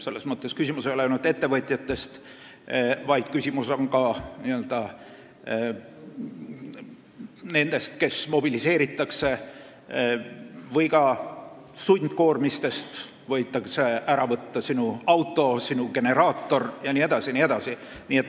Selles mõttes ei ole küsimus ainult ettevõtjates, vaid küsimus on ka nendes, kes mobiliseeritakse, või ka sundkoormistes, sest võidakse ära võtta sinu auto, generaator jne.